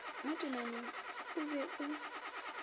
mo temaneng o be o